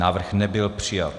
Návrh nebyl přijat.